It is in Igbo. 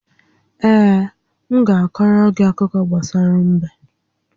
Ee, m ga-akọrọ gị akụkọ gbasara m̀bé